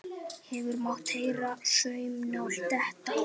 Hefði mátt heyra saumnál detta.